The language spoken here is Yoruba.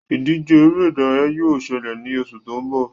Ìdíje eré ìdárayá yóò ṣẹlẹ̀ ní oṣù tó ń bọ̀